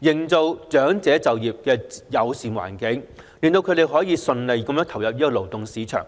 營造長者就業的友善環境，令他們可以順利投入勞動市場。